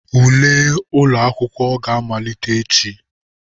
Ule ụlọ akwụkwọ ga-amalite echi.